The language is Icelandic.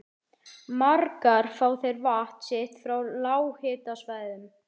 Margar fá þær vatn sitt frá lághitasvæðum.